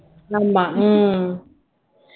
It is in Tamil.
ஆமா உம்